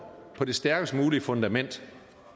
på det stærkest mulige fundament